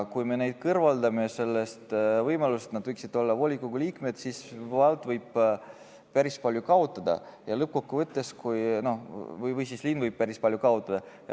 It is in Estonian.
Kui me kõrvaldame selle võimaluse, et nad võiksid olla volikogu liikmed, siis vald või linn võib päris palju kaotada.